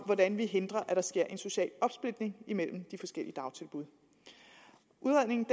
hvordan vi hindrer at der sker en social opsplitning imellem de forskellige dagtilbud udredningen